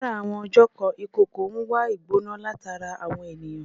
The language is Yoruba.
Lára àwọn ọjọ̀ kan, ìkookò ń wá ìgbona látara àwọn ènìyàn